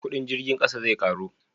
kudin jirgin ƙasa zai karu?